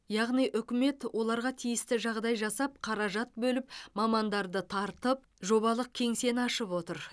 яғни үкімет оларға тиісті жағдай жасап қаражат бөліп мамандарды тартып жобалық кеңсені ашып отыр